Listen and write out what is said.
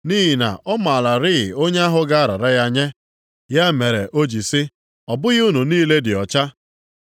Nʼihi na ọ maararị onye ahụ ga-arara ya nye. Ya mere o ji sị, “Ọ bụghị unu niile dị ọcha.”